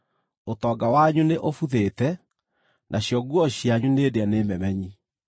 Ũtonga wanyu nĩ ũbuthĩte, nacio nguo cianyu nĩ ndĩe nĩ memenyi.